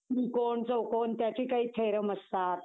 त्रिकोण, चौकोन त्याचे काही theorem असतात.